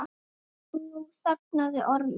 Nú þagnaði Ormur.